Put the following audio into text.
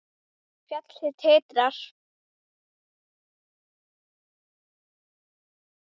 Fjallið titrar.